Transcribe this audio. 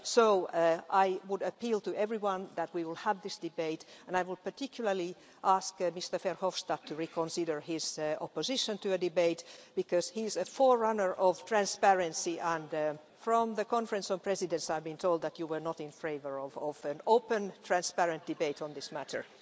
So I would appeal to everyone that we will have this debate, and I would particularly ask Mr Verhofstadt to reconsider his opposition to a debate, because he's a forerunner of transparency and from the Conference of Presidents I've been told that you were not in favour of an open, transparent debate on this matter.